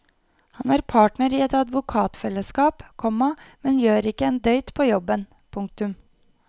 Han er partner i et advokatfellesskap, komma men gjør ikke en døyt på jobben. punktum